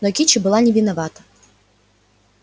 но кичи была не виновата